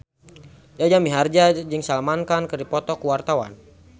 Jaja Mihardja jeung Salman Khan keur dipoto ku wartawan